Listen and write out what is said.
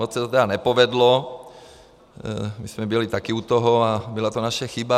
Moc se to tedy nepovedlo, my jsme byli také u toho a byla to naše chyba.